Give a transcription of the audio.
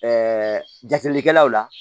jabilikɛlaw la